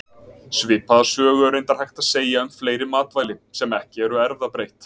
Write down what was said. Svipaða sögu er reyndar hægt að segja um fleiri matvæli, sem ekki eru erfðabreytt.